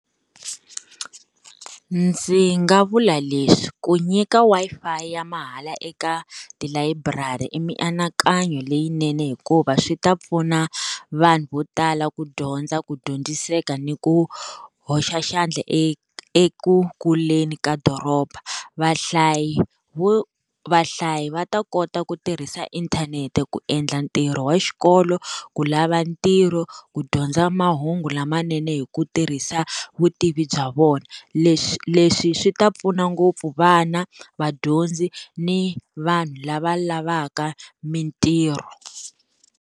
Ndzi nga vula leswi ku nyika Wi-Fi ya mahala eka tilayiburari i mianakanyo leyinene hikuva swi ta pfuna, vanhu vo tala ku dyondza ku dyondziseka ni ku hoxa xandla eku kuleni ka doroba. Vahlayi vahlayi va ta kota ku tirhisa inthanete ku endla ntirho wa xikolo, ku lava ntirho, ku dyondza mahungu lamanene hi ku tirhisa vutivi bya vona. Leswi leswi swi ta pfuna ngopfu vana, vadyondzi, ni vanhu lava lavaka mintirho.